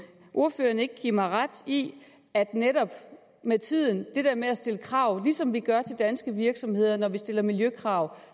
ordføreren ikke give mig ret i at netop med tiden det der med at stille krav ligesom vi gør til danske virksomheder når vi stiller miljøkrav